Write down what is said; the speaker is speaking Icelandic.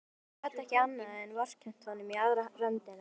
Hún gat ekki annað en vorkennt honum í aðra röndina.